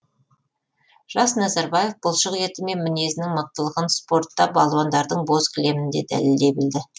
жас назарбаев бұлшық еті мен мінезінің мықтылығын спортта балуандардың боз кілемінде дәлелдей білді